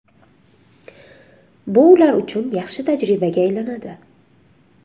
Bu ular uchun yaxshi tajribaga aylanadi.